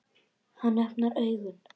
Hann opnar augun.